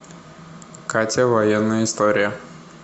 катя военная история